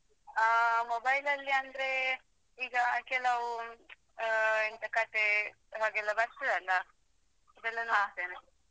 ಹಾ mobile ಲಲ್ಲಿ ಅಂದ್ರೆ ಈಗ ಕೆಲವ್ ಅಹ್ ಎಂತ ಕಥೆ ಹಾಗೆಲ್ಲಾ ಬರ್ತದಲ್ಲಾ ಇದೆಲ್ಲಾ ನೋಡ್ತೇನೆ.